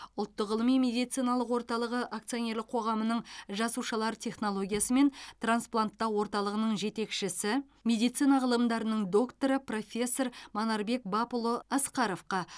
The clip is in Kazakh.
ұлттық ғылыми медициналық орталығы акционерлік қоғамының жасушалар технологиясы мен транспланттау орталығының жетекшісі медицина ғылымдарының докторы профессор манарбек бапұлы асқаровқа